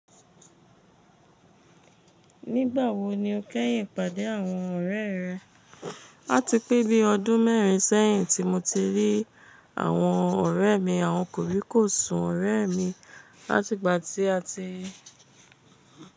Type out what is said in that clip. Nígbà wo ni o kẹ́yìn pàdé àwọn ọ̀rẹ́ rẹ? Ati pẹ́ bí ọdún mẹ́rin sẹ́yìn tí mo ti rí àwọn ọ̀rẹ́ mi, àwọn kò rí kò sùn ọ̀rẹ́ mi látigba tí a ti.